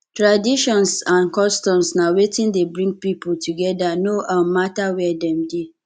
traditions and customs na wetin de bring pipo together no um matter where dem de